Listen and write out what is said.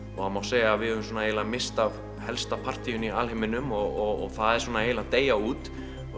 það má segja að við höfum misst af helsta partíinu í alheiminum og það er svona að deyja út